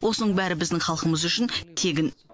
осының бәрі біздің халқымыз үшін тегін